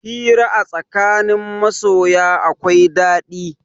Hira a tsakanin masoya akwai ɗaɗi.